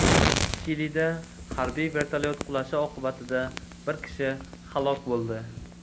Chilida harbiy vertolyot qulashi oqibatida bir kishi halok bo‘ldi.